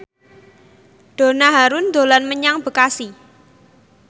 Donna Harun dolan menyang Bekasi